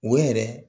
O yɛrɛ